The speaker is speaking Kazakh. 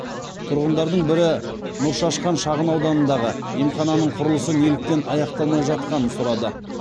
тұрғындардың бірі нұршашқан шағынауданындағы емхананың құрылысы неліктен аяқталмай жатқанын сұрады